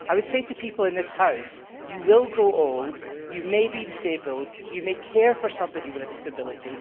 I would say to people in this House that you will grow old, you may be disabled and you may care for somebody with a disability.